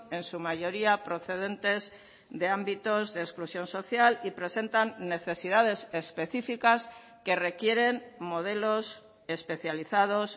en su mayoría procedentes de ámbitos de exclusión social y presentan necesidades específicas que requieren modelos especializados